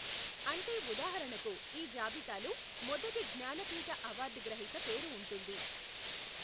అంటే ఉదాహరణకు ఈ జాబితాలో మొదటి జ్ఞానపీఠ అవార్డు గ్రహీత పేరు ఉంటుంది.